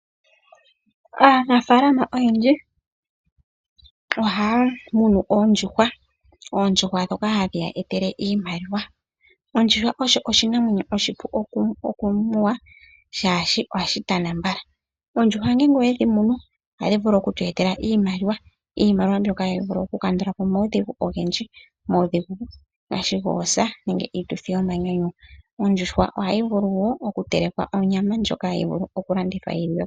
Aanafaalama oyendji ohaamunu oondjuhwa, oondjuhwa dhoka hadhiyeetele iimaliwa. Ondjuhwa osho oshinamwenyo oshipu okumunwa, shaashi ohashitana mbala. Oondjuhwa ngele owedhimunu ohadhivulu okutweetela iimaliwa, iimaliwa mbyoka tayivulu okukandulapo omawudhigu ogendji. Omawudhigu ngaashi goosa nenge iituthi yomanyanyu. Ondjuhwa ohayivulu woo okutelekwa onyama ndjoka hayivulu okulandithwa yiliwepo.